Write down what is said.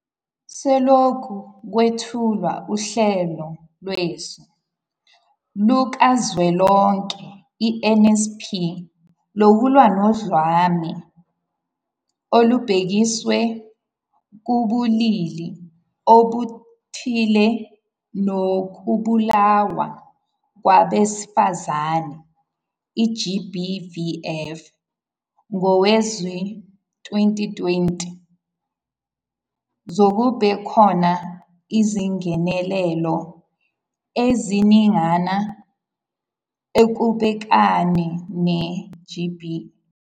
Selokhu kwethulwa uHlelo Lwesu Lukazwelonke, i-NSP, Lokulwa noDlame Olubhekiswe Kubulili Obuthile Nokubulawa Kwabesifazane, i-GBVF, ngowezi-2020, sekubekhona izingenelelo eziningana ekubhekaneni ne-GBV.